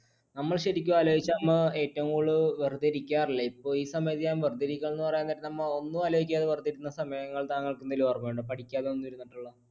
നമ്മൾ ശരിക്കും ആലോചിച്ചാൽ നമ്മ ഏറ്റവും കൂടുതൽ വെറുതെ ഇരിക്കാറില്ല, ഇപ്പോ ഈ സമയത്ത് ഞാൻ വെറുതെ ഇരിക്കാന്ന് പറയാൻ നേരം നമ്മൾ ഒന്നും ആലോചിക്കാതെ വെറുതെ ഇരുന്ന് സമയങ്ങൾ താങ്കൾക്ക് എന്തെങ്കിലും ഓർമ്മയുണ്ടോ പഠിക്കാതെ ഒന്നും ഇരുന്നിട്ടുള്ള.